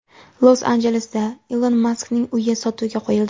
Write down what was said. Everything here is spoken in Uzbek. Los-Anjelesda Ilon Maskning uyi sotuvga qo‘yildi .